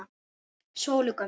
Sólu gömlu.